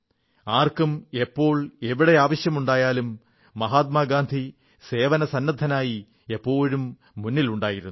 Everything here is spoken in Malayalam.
ആർക്കും എപ്പോൾ എവിടെ ആവശ്യമുണ്ടായാലും മഹാത്മാഗാന്ധി സേവനത്തിനായി എപ്പോഴും മുന്നിലുണ്ടായിരുന്നു